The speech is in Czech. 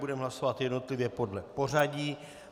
Budeme hlasovat jednotlivě podle pořadí.